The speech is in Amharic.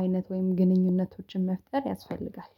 አይነት ወይም ግንኙነቶችን መፍጠር ያስፈልጋል።